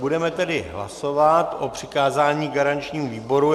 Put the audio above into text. Budeme tedy hlasovat o přikázání garančnímu výboru.